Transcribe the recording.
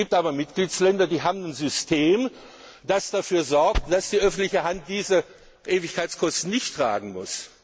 tragen. Es gibt aber Mitgliedstaaten, die haben ein System, das dafür sorgt, dass die öffentliche Hand diese Ewigkeitskosten nicht tragen